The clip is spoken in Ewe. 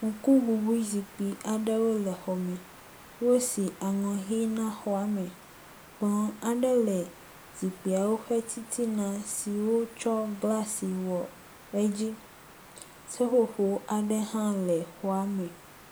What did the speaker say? Ŋkuŋuŋui zikpi aɖewo le xɔ me. Wosi aŋɔ ʋi na xɔa me. Kplɔ aɖe le zikpuiawo ƒe titina si wotsɔ glasi wɔ edzi.